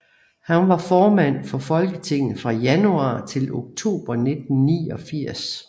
Han var formand for Folketinget fra januar til oktober 1989